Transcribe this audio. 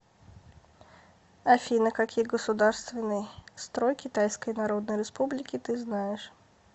афина какие государственный строй китайской народной республики ты знаешь